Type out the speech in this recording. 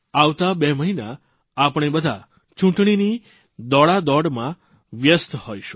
આવતા બે મહિના આપણે બધા ચૂંટણીની દોડાદોડમાં વ્યસ્ત હોઇશું